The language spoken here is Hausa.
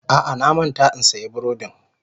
A'a, na manta in siyan burodin.